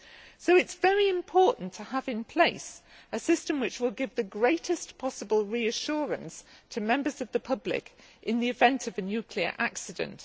So it is very important to have in place a system which will give the greatest possible reassurance to members of the public in the event of a nuclear accident.